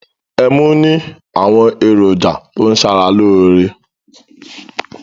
Ẹmu ní àwọn èròjà tó ń ṣara lóore.